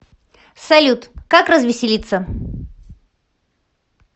салют как развеселиться